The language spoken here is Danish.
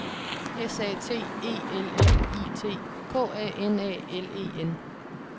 S A T E L L I T K A N A L E N